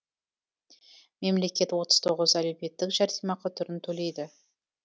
мемлекет отыз тоғыз әлеуметтік жәрдемақы түрін төлейді